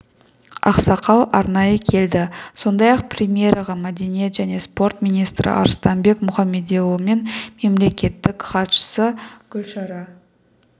ақсақал арнайы келді сондай-ақ премьераға мәдениет және спорт министрі арыстанбек мұхамедиұлы мен мемлекеттік хатшысы гүлшара